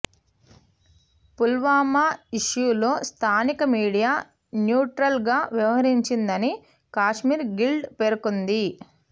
పుల్వామా ఇష్యూలో స్థానిక media neutral గా వ్యవహరించిందని కశ్మీర్ గిల్డ్ పేర్కొంది